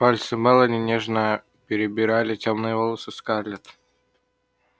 пальцы мелани нежно перебирали тёмные волосы скарлетт